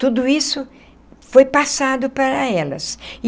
Tudo isso foi passado para elas.